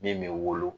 Min bɛ wolo